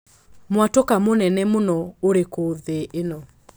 mwatũka mũnene mũno ũrikũ thĩ ĩno